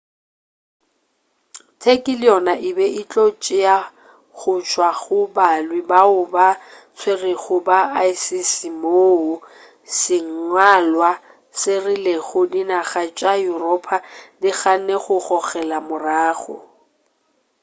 turkey le yona e be e tlo tšea go tšwa go balwi bao ba tswerego ba isis moo sengwalwa se rilego dinaga tša yuropa di ganne go gogela morago